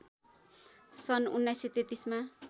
सन् १९३३ मा